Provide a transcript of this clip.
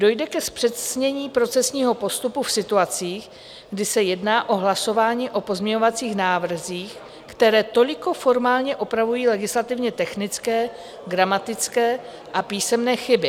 Dojde ke zpřesnění procesního postupu v situacích, kdy se jedná o hlasování o pozměňovacích návrzích, které toliko formálně opravují legislativně technické, gramatické a písmenné chyby.